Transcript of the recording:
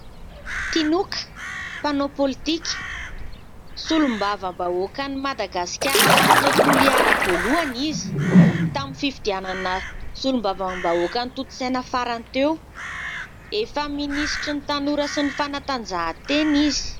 Tinoka, mpanao politika, solombavam-bahoakan'i Madagasikara lany tao Toliara, voalohany izy tamin'ny fifidianana solombavam-bahoaka notontosaina farany teo, efa minisitry ny tanora sy ny fanatanjahan-tena izy.